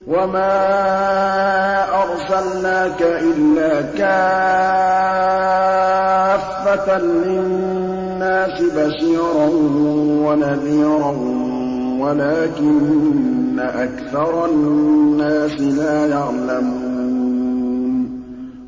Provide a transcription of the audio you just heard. وَمَا أَرْسَلْنَاكَ إِلَّا كَافَّةً لِّلنَّاسِ بَشِيرًا وَنَذِيرًا وَلَٰكِنَّ أَكْثَرَ النَّاسِ لَا يَعْلَمُونَ